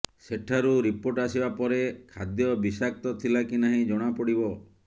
ସେଠାରୁ ରିପୋର୍ଟ ଆସିବା ପରେ ଖାଦ୍ୟବିଷାକ୍ତ ଥିଲାକି ନାହିଁ ଜଣାପଡିବ